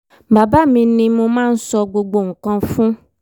bàbá mi ni mo máa ń sọ gbogbo nǹkan fún